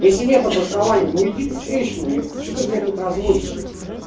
если нет обоснования ну иди ты в трещину епта что ты блять тут разводишь их